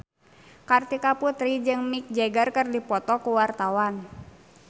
Kartika Putri jeung Mick Jagger keur dipoto ku wartawan